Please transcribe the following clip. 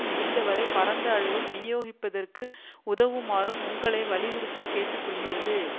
முடிந்தவரை பரந்த அளவில் விநியோகிப்பதற்கு உதவுமாறும் உங்களை வலியுறுத்திக்கேட்டுக் கொள்கிறது